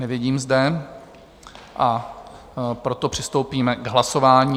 Nevidím zde, a proto přistoupíme k hlasování.